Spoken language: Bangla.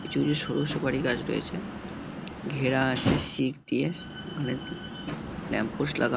কিছু কিছু সরু সুপারি গাছ রয়েছে ঘেরা আছে সিক দিয়ে সি উ ওখানে ল্যাম্প পোস্ট লাগা--